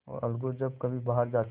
और अलगू जब कभी बाहर जाते